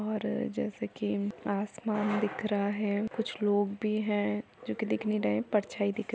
और जैसे कि आसमान दिख रहा हैं और कुछ लोग भी हैं जो कि दिख नहीं रहे परछाई दिख रह --